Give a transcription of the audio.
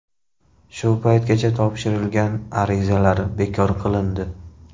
Shu paytgacha topshirilgan arizalar bekor qilindi.